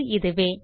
அது இதுவே